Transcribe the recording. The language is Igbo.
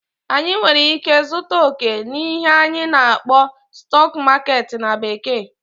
anyị nwere ike zụta okè n'ihe anyị na-akpọ "stock market" na bekee